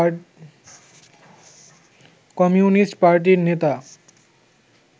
communist পার্টির নেতা